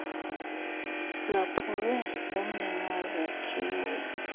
lwaphulwe ngumnini wezakhiwo